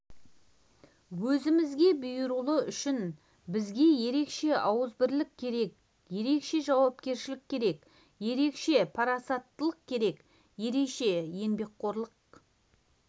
өзімізге бұйыруы үшін бізге ерекше ауызбірлік керек ерекше жауапкершілік керек ерекше парасаттылық керек ерекше еңбекқорлық